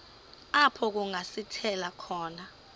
apho kungasithela khona